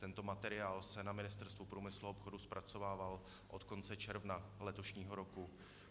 Tento materiál se na Ministerstvu průmyslu a obchodu zpracovával od konce června letošního roku.